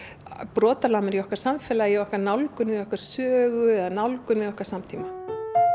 brotalamir í okkar samfélagi í okkar nálgun við okkar sögu eða nálgun við okkar samtíma